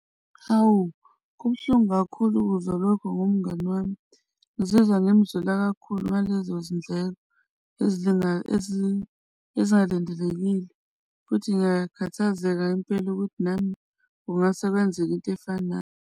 Hawu, kubuhlungu kakhulu ukuzwa lokho ngomngani wami ngizizwa ngimzwela kakhulu ngalezo zindlela ezilingana ezingalindelekile. Futhi ngiyakhathazeka impela ukuthi nami kungase kwenzeke into efanayo.